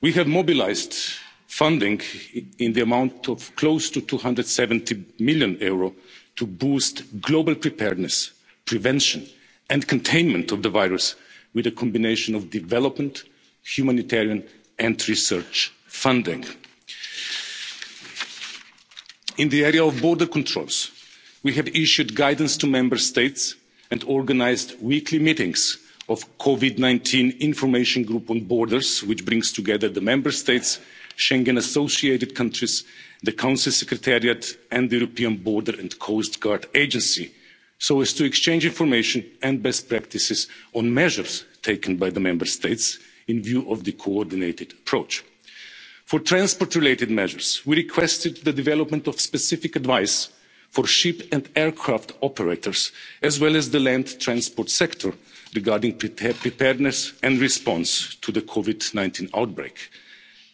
We have mobilised funding to the tune of almost EUR 270 million to boost global preparedness, prevention and containment of the virus with a combination of development, humanitarian and research funding. In the area of border controls, we have issued guidance to Member States and organised weekly meetings of the Covid 19 information group on borders, which brings together the Member States, Schengen associated countries, the Council Secretariat and the European Border and Coast Guard Agency, so as to exchange information and best practices on measures taken by the Member States in view of the coordinated approach. For transport related measures, we have requested the development of specific advice for ship and aircraft operators, as well as the land transport sector, regarding preparedness and the response to the Covid 19 outbreak.